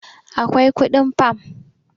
akwai kudin fam